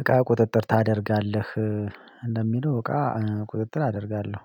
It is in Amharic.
እቃ ቁጥጥር ታደርጋለህ? እንደሚለው እቃ ቁጥጥር አደርጋለሁ።